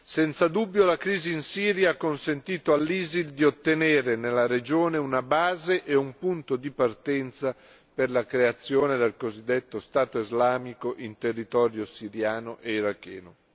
Senza dubbio, la crisi in Siria ha consentito all'ISIL di ottenere nella regione una base e un punto di partenza per la creazione del cosiddetto Stato islamico in territorio siriano e iracheno.